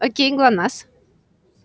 окей глонассс